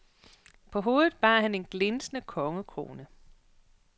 På hovedet bar han en glinsende kongekrone.